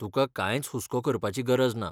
तुका कांयच हुस्को करपाची गरज ना.